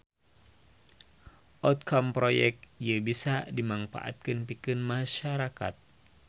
Outcome proyek ieu bisa dimangpaatkeun pikeun masyarakat